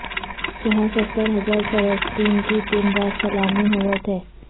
جہاں ستر ہجار فرستن کی دن رات سلامی ہووت ہے